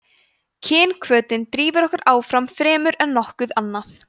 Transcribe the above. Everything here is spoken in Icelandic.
kynhvötin drífur okkur áfram fremur en nokkuð annað